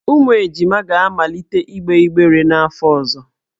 Ụmụ ejima ga-amalite igbe igber n'afọ ọzọ.